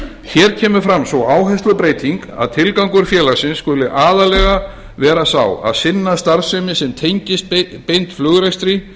hér kemur fram sú áherslubreyting að tilgangur félagsins skuli aðallega vera sá að sinna starfsemi sem tengist beint flugrekstri